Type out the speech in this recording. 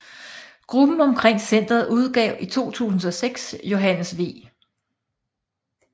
Gruppen omkring centret udgav i 2006 Johannes V